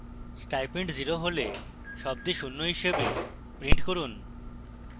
stipend 0 হলে শব্দে শূন্য হিসাবে print করুন